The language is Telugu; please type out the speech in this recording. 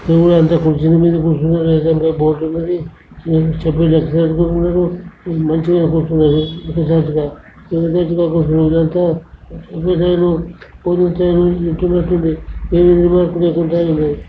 ఎవరు అంత కుర్జీల మీద కూర్చున్నారు కదండ్రా. బోర్డు ఉన్నది చెప్పులు మంచిగానే కూర్చున్నారు. ఏమీ రిమార్కు లేకుండా ఉంది.